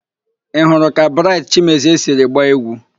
Ị hụrụ ka Braịtị Chimezie siri gbaa égwú?